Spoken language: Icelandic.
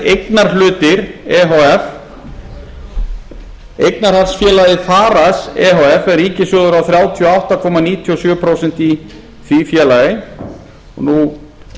eignarhlutir e h f eignarhaldsfélagið farice e h f en ríkissjóður á þrjátíu og átta komma níutíu og sjö prósent í því félagi nú